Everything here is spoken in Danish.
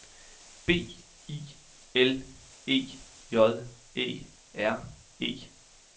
B I L E J E R E